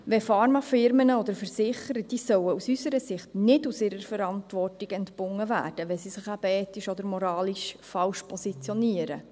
Pharmafirmen oder Versicherer sollen aus unserer Sicht nicht von ihrer Verantwortung entbunden werden, wenn sie sich ethisch oder moralisch falsch positionieren.